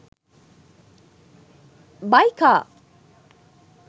buy car